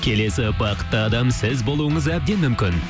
келесі бақытты адам сіз болуыңыз әбден мүмкін